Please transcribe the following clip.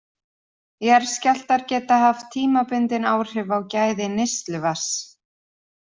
Jarðskjálftar geta haft tímabundin áhrif á gæði neysluvatns.